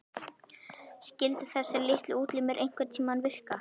Skyldu þessir litlu útlimir einhverntíma virka?